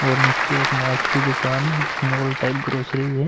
और नीचे एक मार्ट दुकान है जिसमे आल टाइप ग्रॉसरी है।